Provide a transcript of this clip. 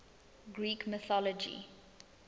greek mythology